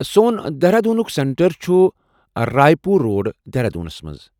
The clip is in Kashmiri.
سون دیہرادوٗنُک سینٹر چُھ راے پوٗر روڈ، دیہرادوٗنس پیٹھ ۔